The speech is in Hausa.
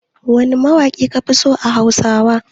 Wane mawaƙi kafi so a Hausawa?